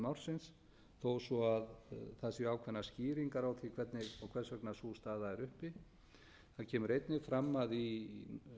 ársins þó svo að það séu ákveðnar skýringar á því hvernig og hvers vegna sú staða er uppi það kemur einnig fram að í